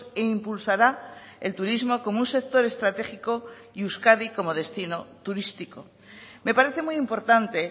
e impulsará el turismo como un sector estratégico y euskadi como destino turístico me parece muy importante